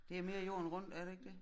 Det mere jorden rundt er det ikke dét?